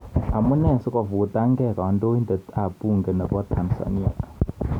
Amunee sikofutangei Kandoindet ap bunge nepo Tanzania?